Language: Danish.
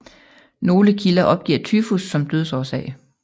Nogle kilder opgiver tyfus som dødsårsag